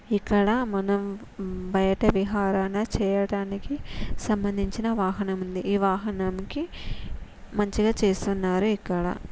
ఇక్కడ మనం బయట విహరణ చేయడానికి సంభందించిన వాహనం ఉంది ఈ వాహాన్నికి మంచిగా చేస్తున్నారు ఇక్కడ.